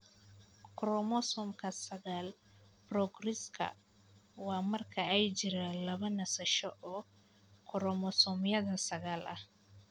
Chromosomka sagal progrogiska waa marka ay jiraan laba nasasho oo koromosoomyada sagal ah.